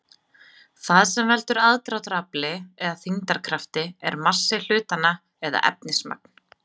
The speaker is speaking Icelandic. Það sem veldur aðdráttarafli eða þyngdarkrafti er massi hlutanna eða efnismagn.